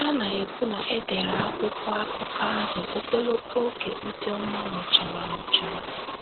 Ha na - ekwu na e dere akwụkwọ akụkọ ahụ ogologo oge Ozioma nwụchara nwụchara.